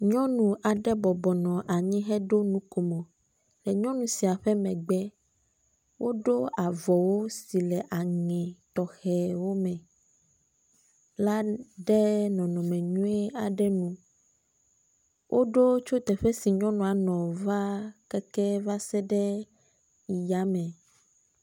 Nyɔnu aɖe bɔbɔnɔ anyi heɖo nukomo. Le nyɔnu sia ƒe megbe woɖo avɔ wu si le aŋe tɔxewo me l a ɖe nɔnɔme nyui aɖe me. Woɖo tso teƒe si nyɔnua nɔ va keke va se ɖe ya me.